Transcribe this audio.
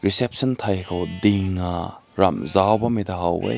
reception tai ko ding ram zao kum na haw weh.